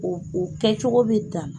O o kɛcogo bɛ danna